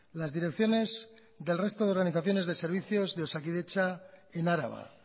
las direcciones del resto de organizaciones de servicios de osakidetza en araba